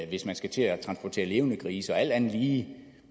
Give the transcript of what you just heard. hvis man skal til at transportere levende grise og alt andet lige